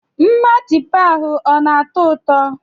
Meatpie ahụ ọ na-atọ ụtọ?